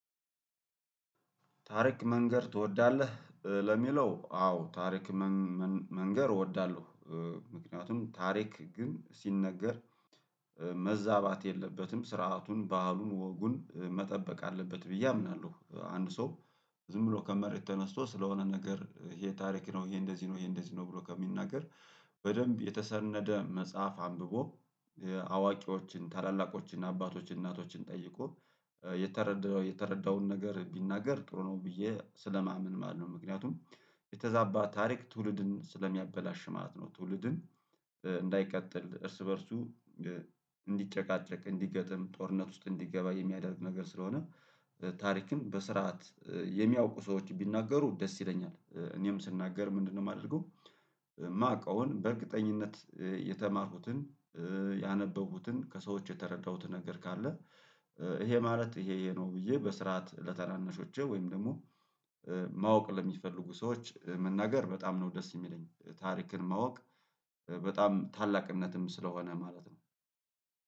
ታሪክ መንገር ትወዳለህ? ለሚለው አዎ ታሪክ መንገር እወዳለው ምክንያቱም ታሪክ ግን ሲነገር መዛባት የለበትም ስርዓቱን ባህሉን ወጉን መጠበቅ አለበት ብዬ አምናለው። አንድ ሰው ዝም ብሎ ከመሬት ተነስቶ ስለሆነ ነገር ይሄ ታሪክ ነው ይሄ እንደዚህ ነው ይሄ እንደዚህ ነው ብሎ ከሚናገር በደንብ የተሰነደ መጽሐፍ አንብቦ አዋቂዎችን ታላላቆችን አባቶችን እናቶችን ጠይቆ የተረዳውን ነገር ቢናገር ጥሩ ነው ብዬ ስለማምን ማለት ነው። ምክንያቱም የተዛባ ታሪክ ትውልድን ስለሚያበላሽ ማለት ነው። ትውልድን እንዳይቀጥል እርስ በእርሱ እንዲጨቃጨቅ እንዲገጥም ጦርነት ውስጥ እንዲገባ የሚያደርግ ነገር ስለሆነ ታሪክን በስርዓት የሚያውቁ ሰዎች ቢናገሩ ደስ ይለኛል። እኔም ስናገር ምንድነው ማደርገው የማውቀውን በእርግጠኝነት የተማርኩትን ያነበቡትን ከሰዎች የተረዳሁት ነገር ካለ ይሄ ማለት ይሄ ይሄ ነው ብዬ በስርዓት ለታናናሾቼ ወይም ደግሞ ማወቅ ለሚፈልጉ ሰዎች መናገር በጣም ነው ደስ የሚለኝ ታሪክን ማወቅ በጣም ታላቅነትም ስለሆነ ማለት ነው።